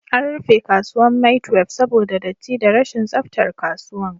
An rufe kasuwan maitwef saboda datti da rashin tsaftar kasuwan